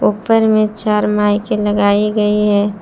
ऊपर में चार माइक एं लगाई गई है।